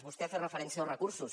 vostè ha fet referència als recursos